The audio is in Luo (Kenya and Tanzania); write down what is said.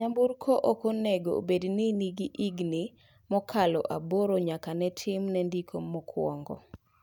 Nyamburko ok onengo obed ni nigi higa mokalo aboro nyaka ne timne ndiko mokwongo.